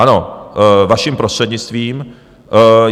Ano, vaším prostřednictvím.